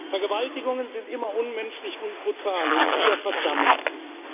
sind. Vergewaltigungen sind immer unmenschlich und brutal, und wir verdammen